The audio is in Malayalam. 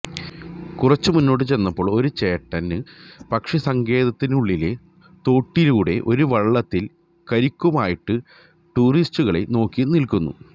കുറച്ച് മുന്നോട്ട് ചെന്നപ്പോള് ഒരു ചേട്ടന് പക്ഷിസങ്കേതിനുള്ളിലെ തോട്ടിലൂടെ ഒരു വള്ളത്തില് കരിക്കുമായിട്ട് ടൂറിസ്റ്റുകളെ നോക്കി നില്ക്കുന്നു